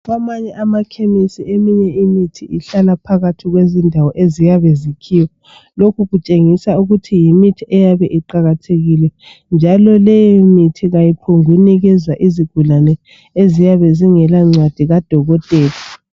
Kwamanye amakhemisi eminye imithi ihlala phakathi kwezindawo eziyabe zikhiyiywa lokhu kutshengisa ukuthi yimithi eyabe iqakathekile njalo leyo mithi kayiphongunikezwa izigulane eziyabe zingela ncwadi kadokotela